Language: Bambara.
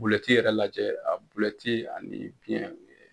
Bulɛti yɛrɛ lajɛ a bulɛti ani biyɛn.